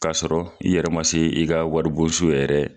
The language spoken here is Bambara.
K'a sɔrɔ i yɛrɛ ma se i ka waribonso yɛrɛ